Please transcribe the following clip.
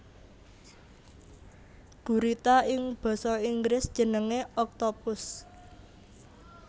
Gurita ing basa Inggris jenengé octopus